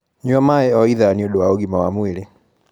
Nyua maĩ o ithaa nĩũndũ wa ũgima wa mwĩrĩ